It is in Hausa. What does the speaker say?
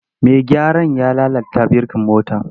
Mai gyaran ya lalata birkin motar.